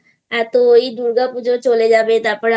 এত দুর্গাপূজো চলে যাবে তারপর